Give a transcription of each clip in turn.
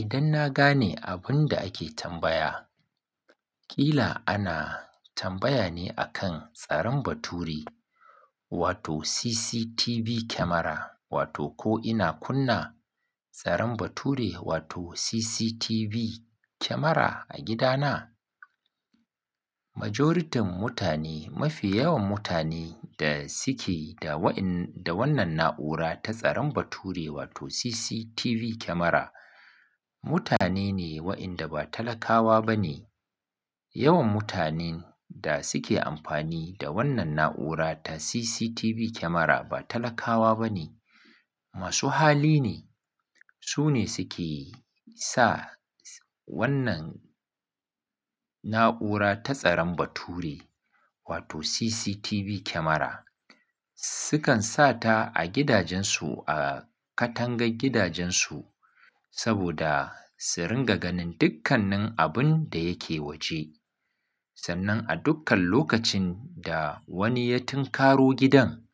Idan na gane abin da ake tambaya, ƙila ana tambaya ne akan tsarin bature wato CCTV camera wato ko ina kunna tsarin bature wato CCTV camera a gidana? Majoritin mutane, mafi yawan mutanen da suke da waɗannan na'ura ta tsarin bature wato CCTV camera, mutane ne waɗanda ba talakawa ba ne. Yawan mutanen da suke amfani da wannan na'ura ta CCTV camera ba talakawa ba ne, masu hali ne. Su ne suke sa wannan na'ura ta tsarin bature wato CCTV camera. Sukan sa ta a gidajensu, a katangar gidajensu saboda su ringa ganin dukkanin abin da yake waje. Sannan a dukkan lokacin da wani ya tinkaro gidan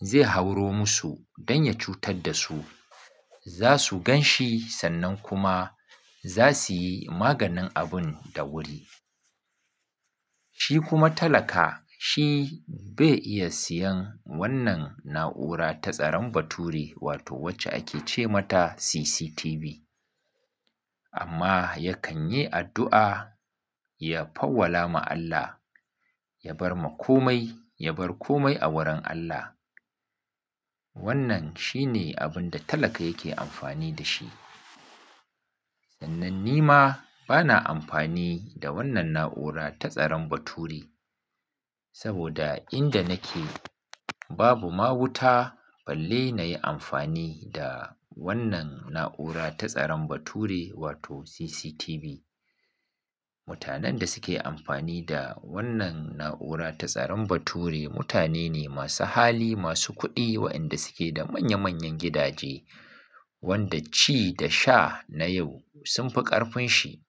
zai hauro musu don ya cutar da su, za su gan shi sannan kuma za su yi maganin abun da wuri. Shi kuma talaka shi bai iya siyan wannan na'ura ta tsarin bature wato wacce ake ce mata CCTV. Amma yakan yi addu'a, ya fawwala ma Allah, ya bar ma komai, ya bar komai a wurin Allah. Wannan shi ne abin da talaka yake amfani da shi. Sannan ni ma bana amfani da wannan na'ura ta tsarin bature saboda inda nake babu ma wuta balle na yi amfani da wannan na'ura ta tsarin bature wato CCTV. Mutanen da suke amfani da wannan na'ura ta tsarin bature mutane ne masu hali, masu kuɗi waɗanda suke da manya manyan gidaje wanda ci da sha na yau sun fi ƙarfin shi.